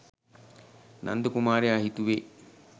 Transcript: නන්ද කුමාරයා හිතුවේ